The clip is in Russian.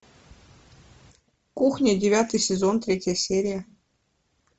кухня девятый сезон третья серия